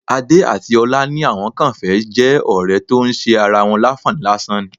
Adé àti ọlá ní àwọn kàn fẹ́ jẹ́ ọ̀rẹ́ tó ń ṣe ara wọn láǹfààní lásán ni